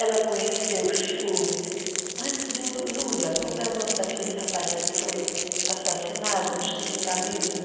Ela conheceu, antes do Lula, como é o nome daquele rapaz que foi assassinado do sindicalismo?